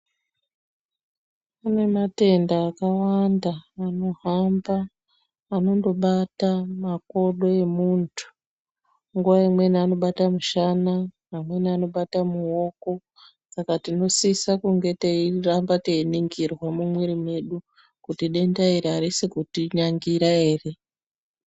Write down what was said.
Kune matenda akawaanda anohamba, anondobata makodo emuntu .Nguwa imweni anobatwa mushana, amweni anobata mudoko. Saka tinosisa kunge teiramba teiningirwa mumwiri mwedu, kuti denda iri arisi kutinyangira ere.